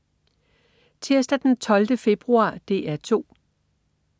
Tirsdag den 12. februar - DR 2: